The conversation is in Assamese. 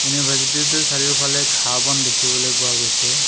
ইউনিভাৰ্ছিটিটোৰ চাৰিওফালে ঘাঁহ বন দেখিবলৈ পোৱা গৈছে।